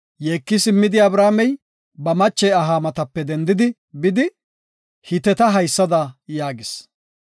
Yeeki simmidi, Abrahaamey ba mache aha matape dendidi bidi, Hiteta haysada yaagis;